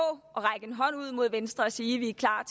række en hånd ud mod venstre og sige vi er klar